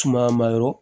Suma ma yɔrɔ